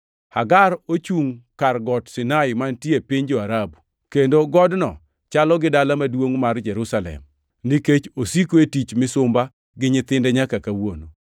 Hagar ochungʼ kar Got Sinai mantie e piny jo-Arabu, kendo godno chalo gi dala maduongʼ mar Jerusalem nikech osiko e tich misumba gi nyithinde nyaka kawuono.